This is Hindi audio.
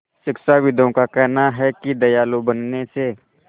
शिक्षाविदों का कहना है कि दयालु बनने से